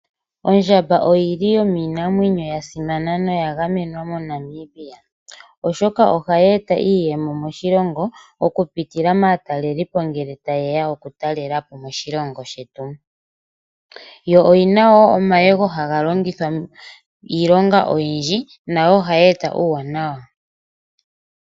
Oondjamba odho dhimwe dhomiinamwenyo mbyoka yili ya gamenwa. Oondjamba ohadhi eta iiyemo moshilongo, okupitila maatalelipo ngele tayeya okutalepo moshilongo shetu. Ondjamba oyina wo omayego ngono haga longithwa iilonga oyindji, mbyono hayi eta uuwanawa.